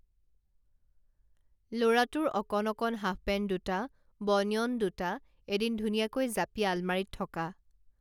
লৰাটোৰ অকণ অকণ হাফপেণ্ট দুটা বনিয়ন দুটা এদিন ধুনীয়াকৈ জাপি আলমাৰীত থকা